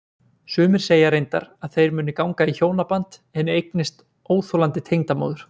Sumir segja reyndar að þeir muni ganga í hjónaband en eignist óþolandi tengdamóður.